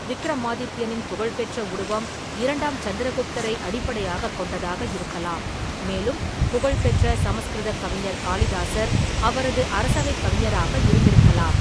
விக்கிரமாதித்யனின் புகழ்பெற்ற உருவம் இரண்டாம் சந்திரகுப்தரை அடிப்படையாகக் கொண்டதாக இருக்கலாம், மேலும் புகழ்பெற்ற சமஸ்கிருதக் கவிஞர் காளிதாசர் அவரது அரசவைக் கவிஞராக இருந்திருக்கலாம்.